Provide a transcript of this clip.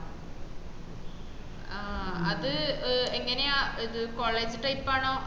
ആഹ് അത് എങ്ങനെയാ ഇത്‌ college type ആണോ